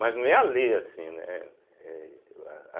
Mas não é a ler assim, né eh ah.